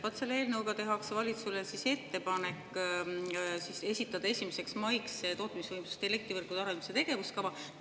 Vaat selle eelnõuga tehakse valitsusele ettepanek esitada 1. maiks tootmisvõimsuste ja elektrivõrkude arenduse tegevuskava.